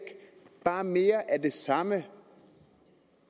bare mere af det samme